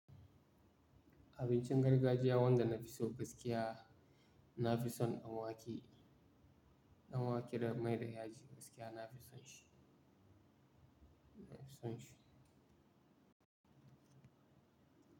Abincin gargajiya wanda na fi so gaskiya, na fi son ɗan wake, ɗan wake da mai da yaji gaskiya na fi son shi, na fi son shi.